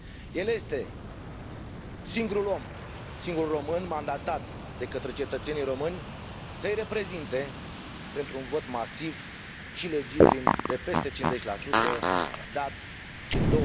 El este singurul om, singurul român mandatat de către cetățenii români să îi reprezinte, printr un vot masiv și legitim de peste 50 dat în